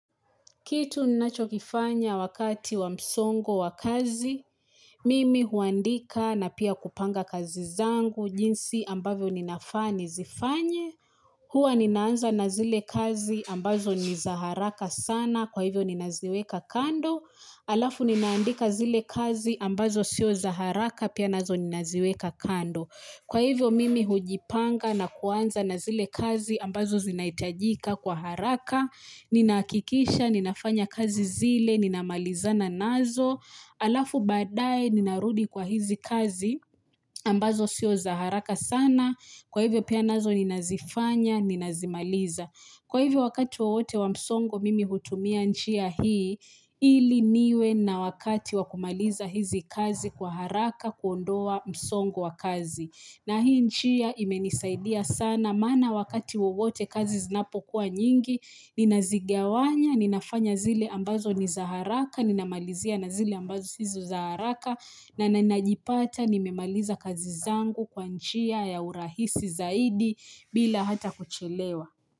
Kitu ninachokifanya wakati wa msongo wa kazi, mimi huandika na pia kupanga kazi zangu, jinsi ambavyo ninafaa nizifanye, hua ninaanza na zile kazi ambazo niza haraka sana kwa hivyo ninaziweka kando, halafu ninaandika zile kazi ambazo sio za haraka pia nazo ninaziweka kando. Kwa hivyo mimi hujipanga na kuanza na zile kazi ambazo zinaitajika kwa haraka, ninakikisha, ninafanya kazi zile, ninamalizana nazo, alafu baadae ninarudi kwa hizi kazi ambazo sio za haraka sana, kwa hivyo pia nazo ninazifanya, ninazimaliza. Kwa hivyo wakati wowote wa msongo mimi hutumia nchia hii, ili niwe na wakati wakumaliza hizi kazi kwa haraka kuondoa msongo wa kazi. Na hii nchia imenisaidia sana maana wakati wowote kazi zinapokuwa nyingi, ninazigawanya, ninafanya zile ambazo niza haraka, ninamalizia na zile ambazo sizo za haraka, na nanajipata nimemaliza kazi zangu kwa jia ya urahisi zaidi bila hata kuchelewa.